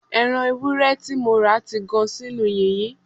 Ẹ̀ran ewúrẹ́ tí mo rà ti gan sínú yìnyín